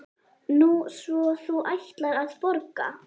Nú, svo þú ætlar að borga?